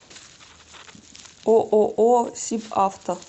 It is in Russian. ооо сибавто